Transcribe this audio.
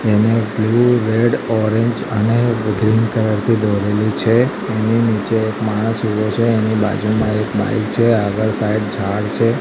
તેને blue red orange અને green colour થી દોરેલું છે એની નીચે એક માણસ ઉભો છે એની બાજુમાં એક બાઈક છે આગળ સાઇડ ઝાડ છે.